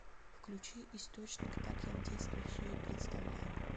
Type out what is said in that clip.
включи источник так я в детстве все и представлял